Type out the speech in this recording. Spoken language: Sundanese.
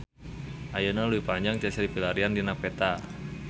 Ayeuna Leuwi Panjang tiasa dipilarian dina peta